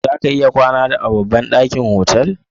Za ka iya kwana a babban ɗakin otal?